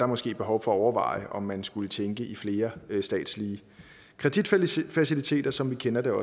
måske behov for at overveje om man skulle tænke i flere statslige kreditfaciliteter som vi kender det